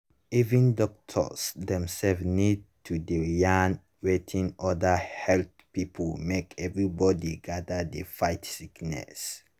even doctors themself need to dey yarn with other health people make everybody gather dey fight sickness.